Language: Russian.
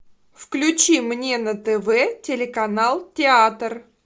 включи мне на тв телеканал театр